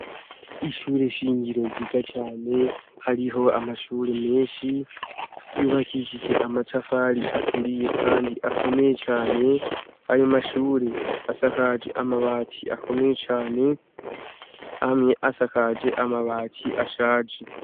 Ishure shingiro ryiza cane hariho amashure menshi yubakishije amatafari aturiye, kandi akomeye cane ayo mashure asakaje amabati akomeye cane amwe asakaje amabati ashaje.